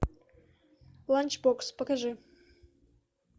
ланчбокс покажи